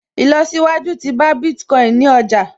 Ìlọsíwájú tí bá Bitcoin ní ọjà